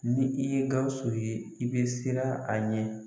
Ni i ye Gawusu ye i bɛ siran a ɲɛ